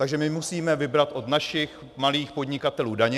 Takže my musíme vybrat od našich malých podnikatelů daně.